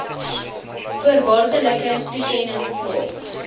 voorwaardelike toekennings nog